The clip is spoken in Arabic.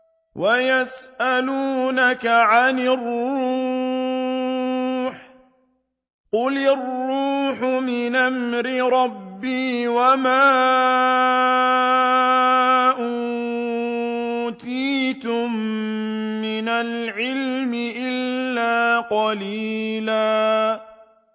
وَيَسْأَلُونَكَ عَنِ الرُّوحِ ۖ قُلِ الرُّوحُ مِنْ أَمْرِ رَبِّي وَمَا أُوتِيتُم مِّنَ الْعِلْمِ إِلَّا قَلِيلًا